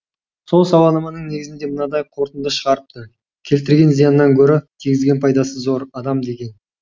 сол сауалнаманың негізінде мынандай қорытынды шығарыпты келтірген зиянынан гөрі тигізген пайдасы зор адам деген